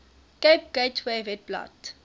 cape gateway webblad